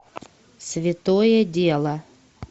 святое дело